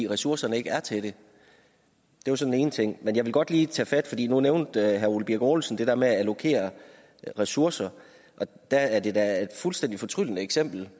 ressourcerne ikke er til det det var så den ene ting men jeg vil godt lige tage fat i nu nævnte herre ole birk olesen det der med at allokere ressourcer og der er det da et fuldstændig fortryllende eksempel